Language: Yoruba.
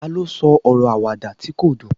ta lo sọ ọrọ Àwàdà ti ko dun